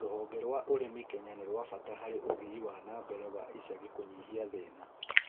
Rũhonge rwa ũrĩmi Kenya nĩrwabata harĩ ũthii wa numbered wa icagi kũnyihia thĩna